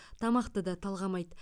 тамақты да талғамайды